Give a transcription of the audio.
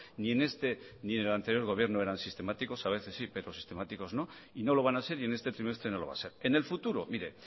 ni en este ni en el anterior gobierno eran sistemáticos a veces sí pero sistemáticos no y no lo van a ser y en este trimestre no lo va a ser en el futuro mire